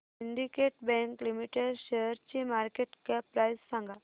Syndicate Bank Limited शेअरची market cap price सांगा